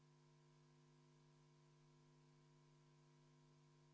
Panen hääletusele muudatusettepaneku nr 2, mille on esitanud Riigikogu liige Helmen Kütt.